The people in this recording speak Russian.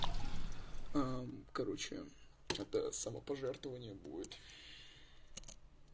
короче это самопожертвование будет